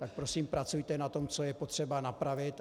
Tak prosím, pracujte na tom, co je potřeba napravit.